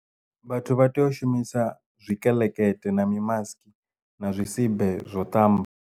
Vhathu vha tea u shumisa zwikeḽekeṱe na mi mask na zwisibe zwo ṱamba.